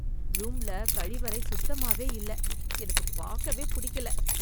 ரூம்ல கழிவறை சுத்தமாவே இல்ல. எனக்கு பாக்கவே பிடிக்கல.